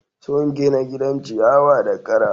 Sun gina gidan ciyawa da kara.